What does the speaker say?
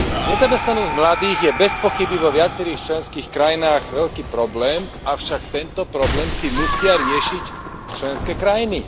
Nezamestnanosť mladých je bezpochyby vo viacerých členských krajinách veľký problém, avšak tento problém si musia riešiť členské krajiny.